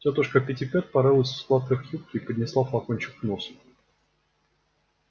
тётушка питтипэт порылась в складках юбки и поднесла флакончик к носу